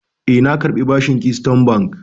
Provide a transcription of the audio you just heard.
E, na karbi bashin Keystone Bank.